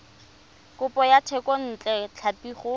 kopo ya thekontle tlhapi go